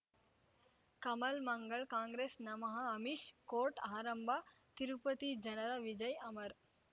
ಕಮಲ್ ಮಂಗಳ್ ಕಾಂಗ್ರೆಸ್ ನಮಃ ಅಮಿಷ್ ಕೋರ್ಟ್ ಆರಂಭ ತಿರುಪತಿ ಜನರ ವಿಜಯ್ ಅಮರ್